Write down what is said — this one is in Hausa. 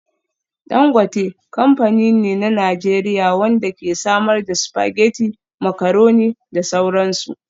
Dangote kamfani ne na Najeriya wanda ke samar da spaghetti, macaroni da sauran su.